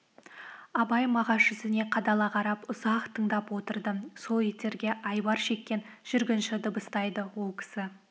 абай мағаш жүзіне қадала қарап ұзақ тыңдап отырды сол иттерге айбар шеккен жүргінші дыбыстайды ол кісі